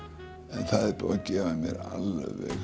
en það er búið að gefa mér alveg